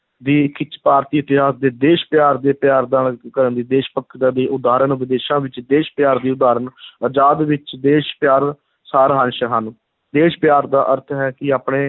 ਦੀ ਖਿੱਚ, ਭਾਰਤੀ ਇਤਿਹਾਸ ਦੇ ਦੇਸ਼ ਪਿਆਰ ਦੇ ਪਿਆਰ ਦਾ ਦੇਸ਼ ਭਗਤਾਂ ਦੀਆਂ ਉਦਾਹਰਨ, ਵਿਦੇਸ਼ਾਂ ਵਿੱਚ ਦੇਸ਼ ਪਿਆਰ ਦੀ ਉਦਾਹਰਨ ਆਜ਼ਾਦ ਵਿੱਚ ਦੇਸ਼ ਪਿਆਰ, ਸਾਰ-ਅੰਸ਼ ਹਨ, ਦੇਸ਼ ਪਿਆਰ ਦਾ ਅਰਥ ਹੈ ਕਿ ਆਪਣੇ